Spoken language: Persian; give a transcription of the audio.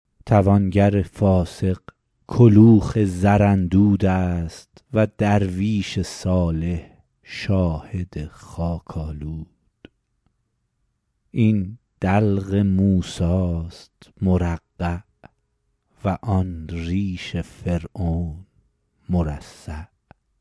توانگر فاسق کلوخ زراندود است و درویش صالح شاهد خاک آلود این دلق موسی است مرقع و آن ریش فرعون مرصع